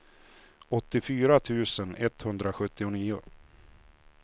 åttiofyra tusen etthundrasjuttionio